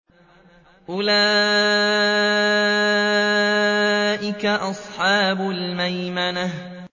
أُولَٰئِكَ أَصْحَابُ الْمَيْمَنَةِ